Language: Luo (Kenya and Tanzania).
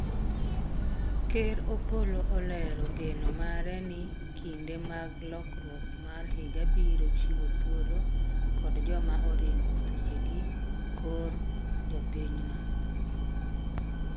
Ker Opolo olero geno mare ni kinde mag lokruok mar higa biro chiwo thuolo kod joma oringo thuchegi kor jopinyno